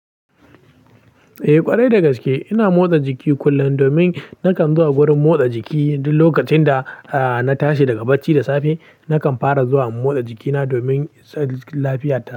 Eh ƙwarai dagaske, ina motsa jiki kullum domin nakan zuwa wurin motsa jiki duk lokacin da na tashi daga bacci da safe. Nakan fara zuwa in motsa jikina domin tsarin lafiyata.